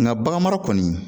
Nka bagan mara kɔni